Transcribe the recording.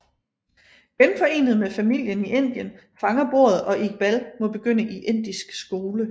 Genforenet med familien i Indien fanger bordet og Iqbal må begynde i indisk skole